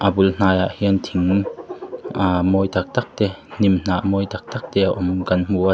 a bul hnai ah hian thing ahhh mawi tak tak te hnim hnah mawi tak tak te a awm kan hmu a.